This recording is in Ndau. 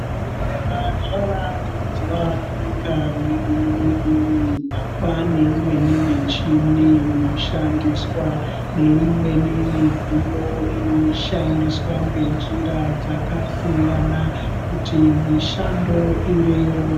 Zvibhedhlera zvavandudzwa munyika mwedu mwunomu kwaane imweni michini inoshandiswa neimweni midziyo inoshandiswa ngenjira dzakasiyana kuti mishando ireruke.